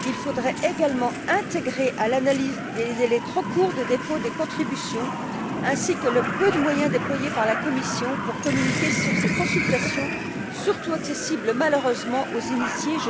Il faudrait également intégrer à l'analyse les délais trop courts des dépôts des contributions ainsi que le peu de moyens déployés par la Commission pour communiquer sur ces consultations, surtout accessibles, malheureusement, aux initiés.